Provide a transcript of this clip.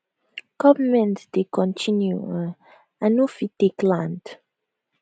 goment dey continue um i no fit take land